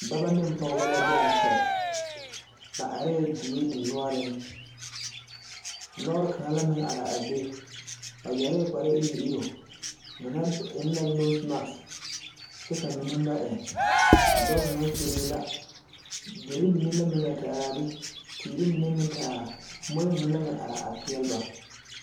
Dɔbɔ neŋ pɔgebɔ la be a kyɛ babareɛɛ die dinoɔreŋ lɔɔre kaŋa la meŋ are a be ba yɛrɛɛ kpare iruŋ iruŋ ba mine eŋ la noose mak kyɛ ka mine ba eŋ a dɔɔ kaŋa kyuree la derre mine la meŋ la te araa be teere mine meŋ te ara moɔɛ mine la meŋ araa a peɛle ba.